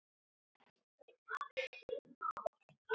En um hvað?